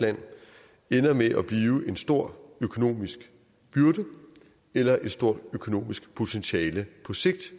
land ender med at blive en stor økonomisk byrde eller et stort økonomisk potentiale på sigt